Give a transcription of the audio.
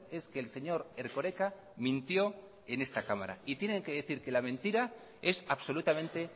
es que el señor erkoreka mintió en esta cámara y tienen que decir que la mentira es absolutamente